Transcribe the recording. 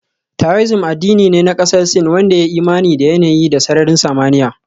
Taoism addini ne na kasar Sin wanda ya yi imani da yanayi da sararin samaniya